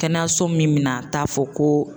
Kɛnɛyaso min mina t'a fɔ ko